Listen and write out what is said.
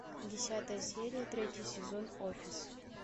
десятая серия третий сезон офис